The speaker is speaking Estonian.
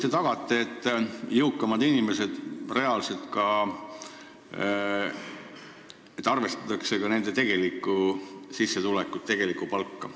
Kuidas te ikkagi tagate, et arvestataks jõukamate inimeste tegelikku sissetulekut, tegelikku palka?